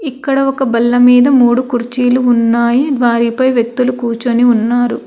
ఇక్కడ ఒక బల్ల మీద మూడు కుర్చీలు ఉన్నాయి వారిపై వ్యక్తులు కూర్చుని ఉన్నారు.